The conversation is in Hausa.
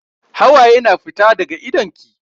Hawaye na fita daga idon ki.